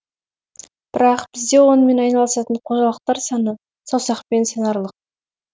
бірақ бізде онымен айналысатын қожалықтар саны саусақпен санарлық